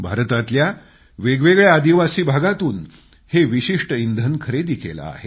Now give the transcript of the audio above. भारतातल्या वेगवेगळ्या आदिवासी भागातून हे विशिष्ट इंधन खरेदी केलं आहे